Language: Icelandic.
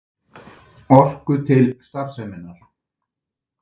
Orku til starfseminnar.